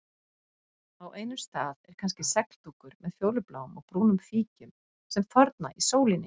Á einum stað er kannski segldúkur með fjólubláum og brúnum fíkjum sem þorna í sólinni.